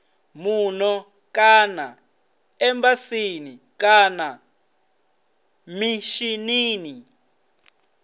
muno kana embasini kana mishinini